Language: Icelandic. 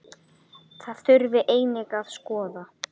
Það þurfi einnig að skoða.